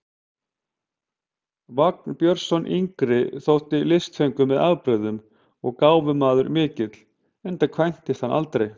Vagn Björnsson yngri þótti listfengur með afbrigðum og gáfumaður mikill, enda kvæntist hann aldrei.